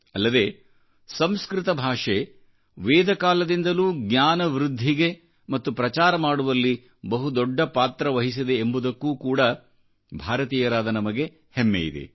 ಅಲ್ಲದೆ ಸಂಸ್ಕೃತ ಭಾಷೆ ವೇದಕಾಲದಿಂದಲೂ ಜ್ಞಾನವೃದ್ಧಿಗೆ ಮತ್ತು ಪ್ರಚಾರ ಮಾಡುವಲ್ಲಿ ಬಹು ದೊಡ್ಡಪಾತ್ರವಹಿಸಿದೆ ಎಂಬುದಕ್ಕೂ ಕೂಡಾ ಭಾರತೀಯರಾದ ನಮಗೆ ಹೆಮ್ಮೆಯಿದೆ